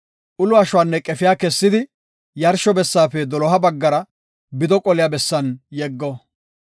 Ulo ashuwanne qefiya kessidi, yarsho bessaafe doloha baggara bido qoliya bessan yeggo.